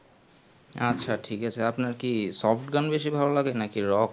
আচ্ছা ঠিক আছে আপনার কি soft গান বেশি ভালো লাগে নাকি rock